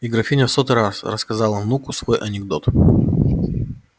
и графиня в сотый раз рассказала внуку свой анекдот